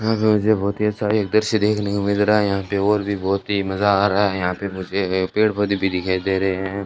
यहां पे मुझे बहोत ही सारी दृश्य देखने को मिल रहा है यहां पे और भी बहोत ही मजा आ रहा है यहां पे मुझे पेड़ पौधे भी दिखाई दे रहे है।